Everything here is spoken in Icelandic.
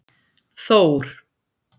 Þór